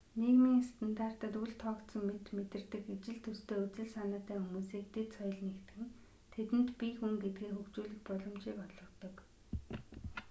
нийгмийн стандартад үл тоогдсон мэт мэдэрдэг ижил төстэй үзэл санаатай хүмүүсийг дэд соёл нэгтгэн тэдэнд бие хүн гэдгээ хөгжүүлэх боломжийг олгодог